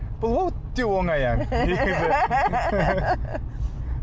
бұл өте онай ән